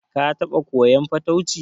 Ka taɓa koyan fatauci?